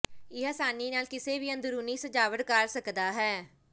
ਇਹ ਆਸਾਨੀ ਨਾਲ ਕਿਸੇ ਵੀ ਅੰਦਰੂਨੀ ਸਜਾਵਟ ਕਰ ਸਕਦਾ ਹੈ